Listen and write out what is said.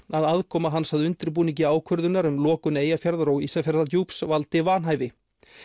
að aðkoma hans að undirbúningi ákvörðunar um lokun Eyjafjarðar og Ísafjarðardjúps valdi vanhæfi